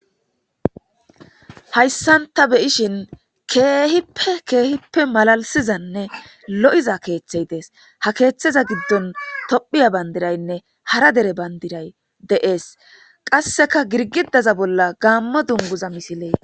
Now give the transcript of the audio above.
Hayssan ta beyishin keehippe keehippe malalisizanne lo7iza keeththey dees ha keeththeza giddon tophiya bandiraynne hara dere bandiray deees qasseka girgidaza bolla gaammo dunguza misilee.